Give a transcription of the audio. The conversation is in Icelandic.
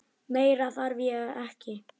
Meira þarf ég ekki.